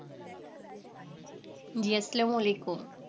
জি আসসালামু আলাইকুম